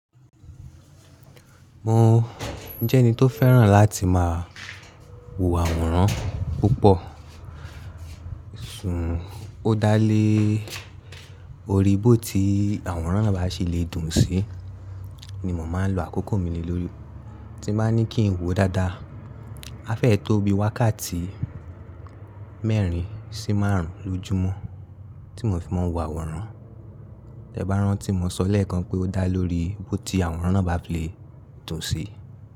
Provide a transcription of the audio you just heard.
Mo jẹ́ ẹni tó fẹ́ràn láti máa wo àwòrán púpọ̀, sùn ó dálé orí ibi tí àwòrán bá ṣe lè dùn sí ni mò máa ń lo àkókò mi ní lórí. Tí mo bá ní kí n wo dáadáa, á fẹ́ tó bí wákàtí mẹ́rin sí márùn ún lójúmọ́ tí mò fi máa ń wo àwòrán. Ti e bá rán tí mo sọ̀ lẹ́ẹ̀kan pé ó dá lórí o tí àwòrán náà bá lè dùn sí.